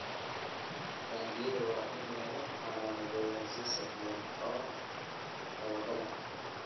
Taangiyada waa in lagu calaamadeeyaa si sahlan oo dabagal ah.